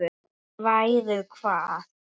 Ef þú værir hvað?